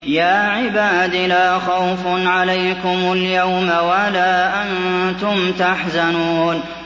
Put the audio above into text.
يَا عِبَادِ لَا خَوْفٌ عَلَيْكُمُ الْيَوْمَ وَلَا أَنتُمْ تَحْزَنُونَ